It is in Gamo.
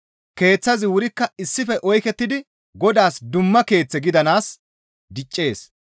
Keeththazi wurikka issife oykettidi Godaas dumma keeththe gidanaas diccees.